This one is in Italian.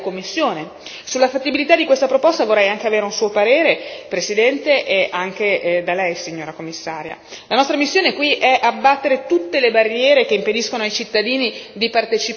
Un simile carattere potrebbe essere adottato dal sito internet del Parlamento europeo e della Commissione, sulla fattibilità di questa proposta vorrei anche avere un suo parere, presidente e anche da Lei signora Commissaria.